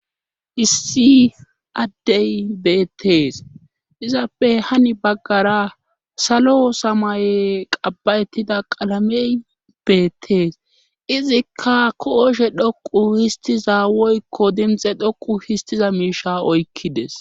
issi addey beettees izappe hani baggara salo samay qabbayettida qalamey beettees izikka kooshe dhoqu histiza woykko dimxe dhoqu histiza miisha oykkides